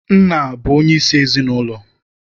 Nna bụ onye isi ezinaụlọ.